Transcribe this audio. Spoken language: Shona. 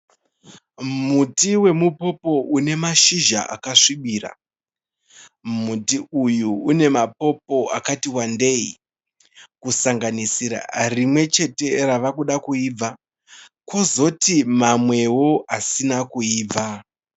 Muti wemupopo une mashizha akasvibira. Muti uyu une mapopo akati wandei kusanganisira rimwe chete rava uda kuibva kwozoti mamwewo asina kuibva.